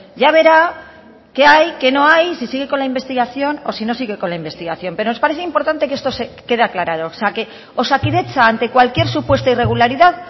ya verá que hay que no hay si sigue con la investigación o no sigue con la investigación pero nos parece importante que esto quede aclarado o sea que osakidetza ante cualquier supuesta irregularidad